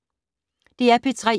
DR P3